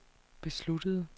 besluttede